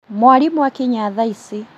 Mwarimũ akinya thaa ici